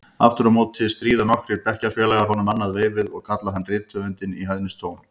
Aftur á móti stríða nokkrir bekkjarfélagar honum annað veifið og kalla hann rithöfundinn í hæðnistóni.